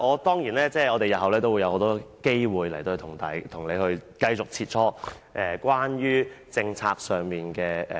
當然，我們日後還會有很多機會與局長繼續在審議政策上切磋。